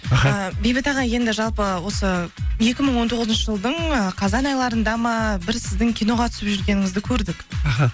аха бейбіт аға енді жалпы осы екі мың он тоғызыншы жылдың ы қазан айларында ма бір сіздің киноға түсіп жүргеніңізді көрдік аха